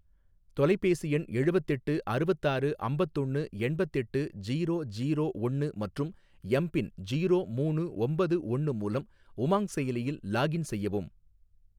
தொலைபேசி எண் எழுவத்தெட்டு அறுவத்தாறு அம்பத்தொன்னு எண்பத்தெட்டு ஜீரோ ஜீரோ ஒன்னு மற்றும் எம் பின் ஜீரோ மூணு ஒம்பது ஒன்னு மூலம் உமாங் செயலியில் லாக்இன் செய்யவும்